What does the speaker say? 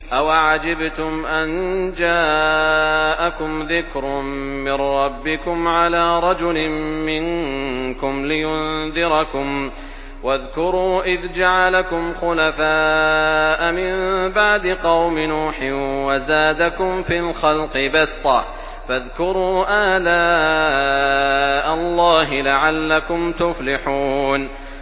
أَوَعَجِبْتُمْ أَن جَاءَكُمْ ذِكْرٌ مِّن رَّبِّكُمْ عَلَىٰ رَجُلٍ مِّنكُمْ لِيُنذِرَكُمْ ۚ وَاذْكُرُوا إِذْ جَعَلَكُمْ خُلَفَاءَ مِن بَعْدِ قَوْمِ نُوحٍ وَزَادَكُمْ فِي الْخَلْقِ بَسْطَةً ۖ فَاذْكُرُوا آلَاءَ اللَّهِ لَعَلَّكُمْ تُفْلِحُونَ